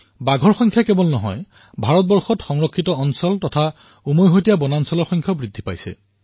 ভাৰতত কেৱল বাঘৰ সংখ্যা বৃদ্ধি হোৱাই নহয় সংৰক্ষিত এলেকা আৰু সামূহিক সংৰক্ষণৰো সংখ্যা বৃদ্ধি পাইছে